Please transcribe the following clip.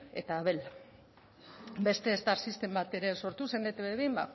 eta abel beste star system bat sortu zen etb bi